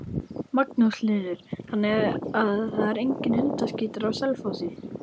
Magnús Hlynur: Þannig að það er enginn hundaskítur á Selfossi?